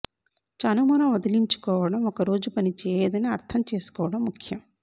చనుమొన వదిలించుకోవటం ఒక రోజు పని చేయదని అర్థం చేసుకోవడం ముఖ్యం